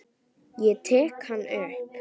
Ég tek hann upp.